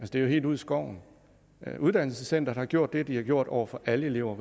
det er jo helt ude i skoven uddannelsescenteret har gjort det de har gjort over for alle elever og